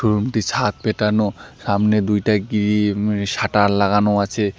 Room -টি ছাদ পেটানো সামনে দুইটা গ্রি ইম শাটার লাগানো আছে।